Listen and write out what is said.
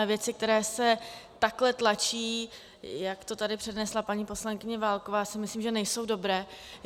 A věci, které se takhle tlačí, jak to tady přednesla paní poslankyně Válková, si myslím, že nejsou dobré.